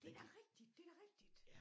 Det da rigtigt det da rigtigt